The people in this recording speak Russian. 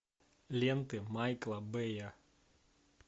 ленты майкла бэя